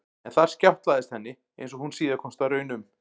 En þar skjátlaðist henni, einsog hún síðar komst að raun um, því